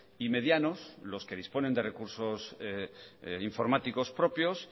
y medianos los que disponen de recursos informáticos propios